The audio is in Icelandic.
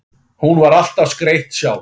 Hún var alltaf skreytt sjálf.